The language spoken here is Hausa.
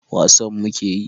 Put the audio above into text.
wasa muke yi